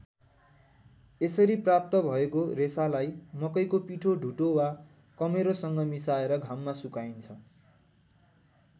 यसरी प्राप्त भएको रेसालाई मकैको पिठो ढुटो वा कमेरोसँग मिसाएर घाममा सुकाइन्छ।